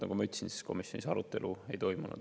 Nagu ma ütlesin, komisjonis arutelu ei toimunud.